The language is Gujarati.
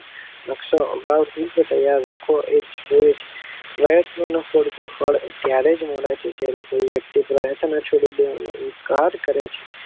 નકશો અગાવ પૂર્વ ત્યાર રાખવો જોઈએ પ્રયત્નો નો પૂરતો ફળ ત્યારેજ મળે છે જયારે કોઈ વક્તિ પ્રયત્નો છોડી દેવાનો ઇન્કાર કરે છે.